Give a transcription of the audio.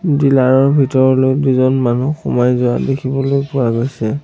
Driller ৰ ভিতৰলৈ দুজন মানুহ সোমাই যোৱা দেখিবলৈ পোৱা গৈছে।